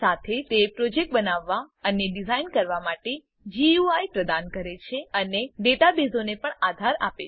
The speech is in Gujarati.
સાથે તે પ્રોજેક્ટ બનાવવા અને ડીઝાઇન કરવા માટે ગુઈ પ્રદાન કરે છે અને ડેટાબેઝોને પણ આધાર આપે છે